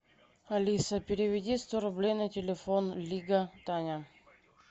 алиса переведи сто рублей на телефон лига таня